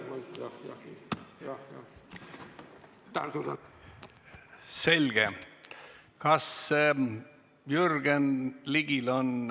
Kas Jürgen Ligil on kõne?